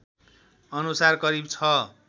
अनुसार करिब ६